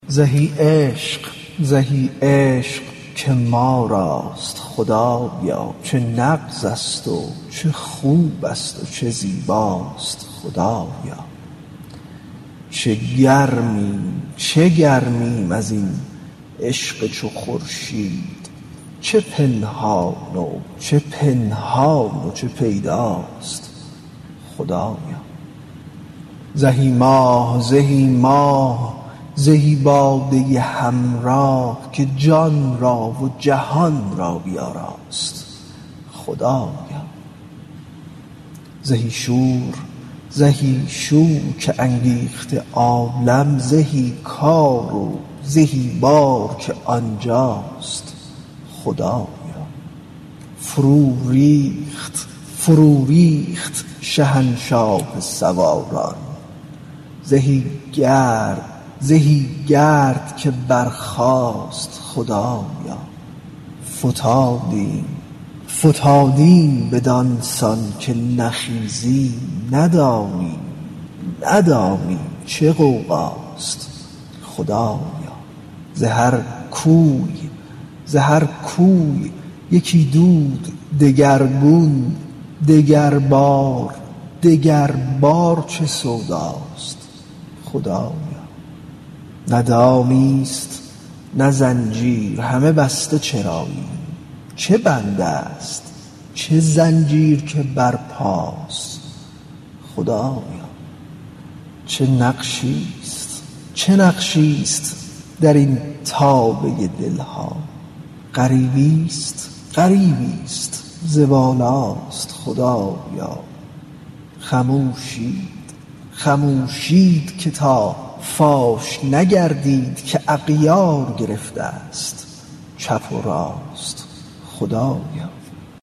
زهی عشق زهی عشق که ما راست خدایا چه نغزست و چه خوبست و چه زیباست خدایا چه گرمیم چه گرمیم از این عشق چو خورشید چه پنهان و چه پنهان و چه پیداست خدایا زهی ماه زهی ماه زهی باده همراه که جان را و جهان را بیاراست خدایا زهی شور زهی شور که انگیخته عالم زهی کار زهی بار که آن جاست خدایا فروریخت فروریخت شهنشاه سواران زهی گرد زهی گرد که برخاست خدایا فتادیم فتادیم بدان سان که نخیزیم ندانیم ندانیم چه غوغاست خدایا ز هر کوی ز هر کوی یکی دود دگرگون دگربار دگربار چه سوداست خدایا نه دامیست نه زنجیر همه بسته چراییم چه بندست چه زنجیر که برپاست خدایا چه نقشیست چه نقشیست در این تابه دل ها غریبست غریبست ز بالاست خدایا خموشید خموشید که تا فاش نگردید که اغیار گرفتست چپ و راست خدایا